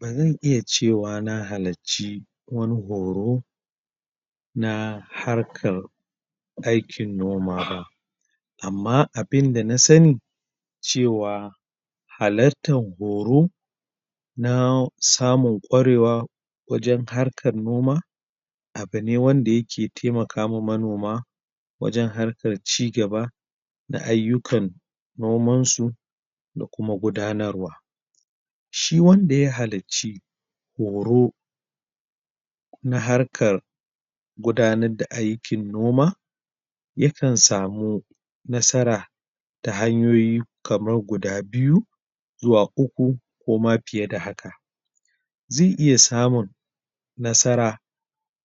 Ba zan iya cewa na halaci wani horo na harkar aikin noma ba amma abinda na sani cewa halatar horo na samun ƙwarewa wajen harkar noma abu ne wanda ya ke taimaka ma manoma wajen harkar cigaba da ayukan noman su da kuma gudanarwa shi wanda ya halici horo na harkar gudanar da aikin noma ya kan samu nasara da hanyoyi kamar guda biyu zuwa uku, ko ma fiye da haka ze iya samu nasara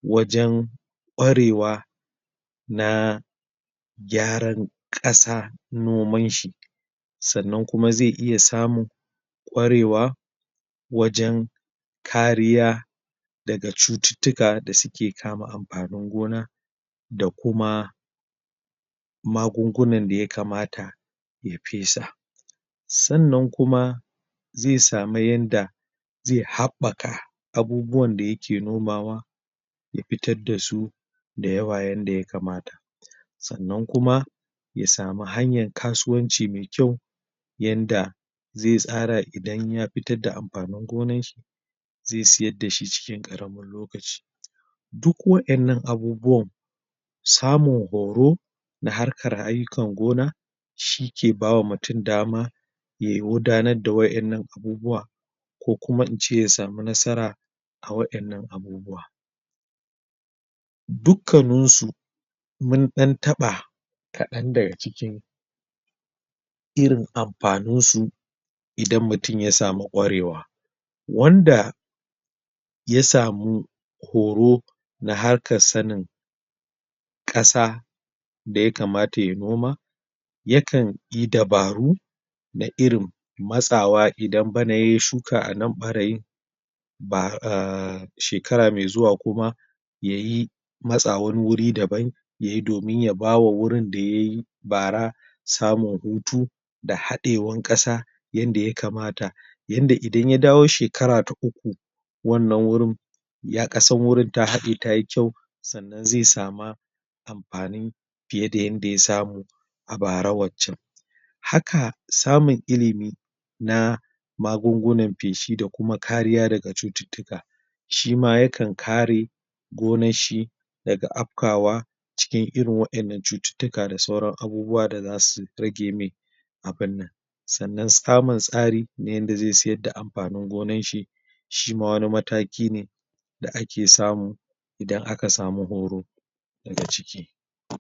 wajen ƙwarewa na gyaran kasa noman shi sannan kuma ze iya samu ƙwarewa wajen kariya da ga cututuka da su ke kama amfanin gona da kuma magunguna da ya kamata ya pesa Sannan kuma ze samu yanda ze haɓaka abubuwan da ya ke nomawa ya fitar da su da yawayan da ya kamata sannan kuma ya samu hanyar kasuwanci mai kyau yanda ze tsara idan ya fitar da amfanin gonan shi ze siyar da shi cikin karamin lokaci duk waennan abubuwan samu horo na harkar ayukar gona shi ke bawa mutum dama yayi wudanar da waennan abubuwa ko kuma in ce ya samu nasara a waennan abubuwa dukkanun su mun dan tabba kadan da ga cikin irin amfanin su idan mutum ya samu ƙwarewa wanda ya samu horo na harkar sanin kasa da ya kamata ya noma ya kan yi dabaru na irin matsawa idan banna ya shuka a nan barayi ba shekara mai zuwa kuma yayi matsa wani wuri daban ya yi domin ya ba wa wurin da ya yi bara samun hutu da haɗewan kasa yanda ya kamata yanda idan ya dawo shekara ta uku wannan wurin ya kasar wurin ta hade ta yi kyau, tsannan ze sama amfanin piye da yanda ya samu a bara wacan haka samun ilimi na magungunan peshi da kuma kariya da ga cututuka shi ma ya kan kare gonan shi da ga apkawa cikin irin wannan cututuka da sauran abubuwa da za su rage me abunnan. Sannan samun tsari na yanda ze siyar da amfanin gonan shi shi ma wani mataki ne, da a ke samu idan a ka samu horo da ga ciki.